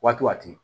Waatiw waati